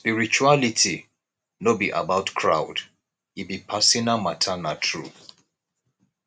spirituality no be about crowd e be personal matter na true